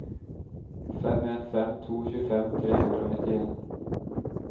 fem en fem to tjuefem tre hundre og nittien